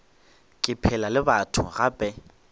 ke phela le batho gape